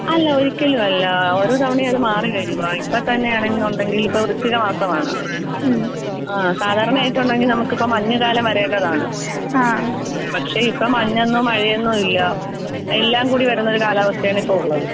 അല്ല ഒരിക്കലും അല്ല ഓരോ തവണയും അത് മാറി വരുവാ, ഇപ്പോ തന്നെ ആണെന്നുണ്ടെങ്കിൽ ഇപ്പൊ വൃശ്ചിക മാസമാണ്. ആഹ് സാധാരണ ആയിട്ടുണ്ടെങ്കിൽ നമുക്കിപ്പൊ മഞ്ഞ് കാലം വരേണ്ടതാണ്. പക്ഷെ ഇപ്പൊ മഞ്ഞെന്നോ മഴയെന്നോ ഇല്ലാ എല്ലാം കൂടി വരുന്നൊരു കാലാവസ്ഥയാണ് ഇപ്പൊ ഉള്ളത്.